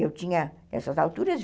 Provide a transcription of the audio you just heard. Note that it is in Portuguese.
Eu tinha, nessas alturas,